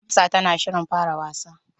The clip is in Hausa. Hafsa tana shirin fara wasa.